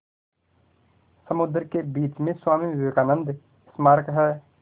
समुद्र के बीच में स्वामी विवेकानंद स्मारक है